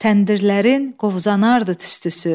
Təndirlərin qovzanardı tüstüsü.